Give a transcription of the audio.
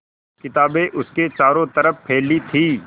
किताबें उसके चारों तरफ़ फैली थीं